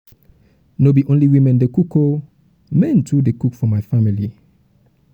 no um be only women dey cook dey cook um o men too um dey cook for my family.